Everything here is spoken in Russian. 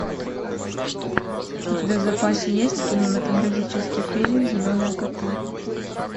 у тебя в запасе есть кинематографический фильм зеленые коты